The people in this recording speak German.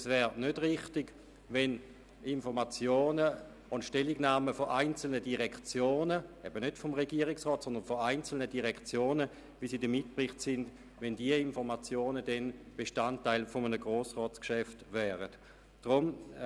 Es wäre nicht richtig, wenn die Informationen und Stellungnahmen einzelner Direktionen – also nicht des gesamten Regierungsrats – Bestandteil eines Grossratsgeschäfts würden.